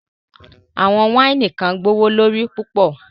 Awọn waini kan gbọwọlorí pupọ̀